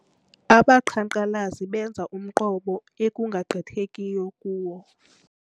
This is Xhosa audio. Abaqhankqalazi benze umqobo ekungagqithekiyo kuwo.